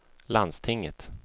landstinget